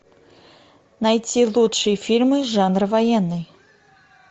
найти лучшие фильмы жанра военный